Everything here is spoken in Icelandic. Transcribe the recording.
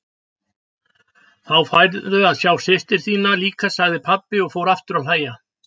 Þá færðu að sjá systur þína líka, sagði pabbi og fór aftur að hlæja.